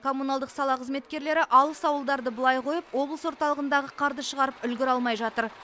коммуналдық сала қызметкерлері алыс ауылдарды былай қойып облыс орталығындағы қарды шығарып үлгере алмай жатыр